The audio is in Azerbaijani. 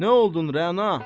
Nə oldun Rəna?